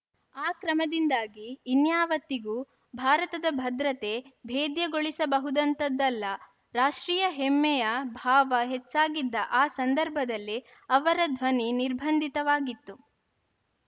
ಆ ಕ್ರಮದಿಂದಾಗಿ ಇನ್ಯಾವತ್ತಿಗೂ ಭಾರತದ ಭದ್ರತೆ ಭೇದ್ಯಗೊಳಿಸಬಹುದಂತಹದ್ದಲ್ಲ ರಾಷ್ಟ್ರೀಯ ಹೆಮ್ಮೆಯ ಭಾವ ಹೆಚ್ಚಾಗಿದ್ದ ಆ ಸಂದರ್ಭದಲ್ಲಿ ಅವರ ಧ್ವನಿ ನಿರ್ಬಂಧಿತವಾಗಿತ್ತು